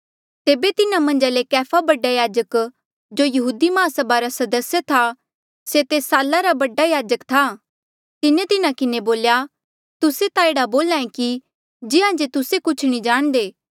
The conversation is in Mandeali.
तेबे तिन्हा मन्झा ले कैफा बडा याजक जो यहूदी माहसभा रा सदस्य था से तेस साला रा बडा याजक था तिन्हें तिन्हा किन्हें बोल्या तुस्से ता एह्ड़ा बोल्हा ऐें जिहां जे तुस्से कुछ नी जाणदे